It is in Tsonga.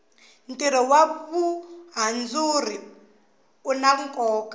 tiro wa vuhandzuri una koka